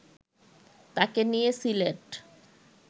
তাকে নিয়ে সিলেট